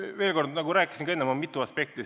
Veel kord: nagu ma enne ütlesin, on mitu aspekti.